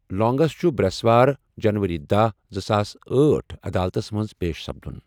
لونگس چُھ بریس وار ، جنوری دہَ , زٕساس أٹھ عدالتس منز پیش سپدُن ۔